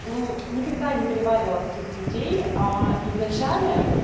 никогда не переваривала таких людей а и в начале